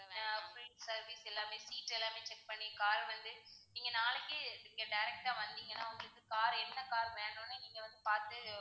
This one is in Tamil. ஆஹ் full service எல்லாமே seat எல்லாமே check பண்ணி car வந்து நீங்க நாளைக்கே நீங்க direct ஆ வந்திங்கன்னா உங்களுக்கு car என்ன car வேணும்ன்னு நீங்க வந்து பாத்து,